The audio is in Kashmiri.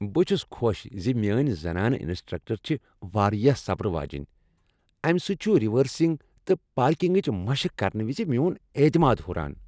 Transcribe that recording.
بہٕ چھس خۄش ز میٲنۍ زنانہٕ انسٹرکٹر چھےٚ واریاہ صبرٕ واجیٚنۍ۔ امہ سۭتۍ چھُ ریورسنگ تہٕ پارکنگٕچ مشق کرنہٕ وز میون اعتمادس ہُران۔